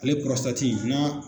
Ale n'a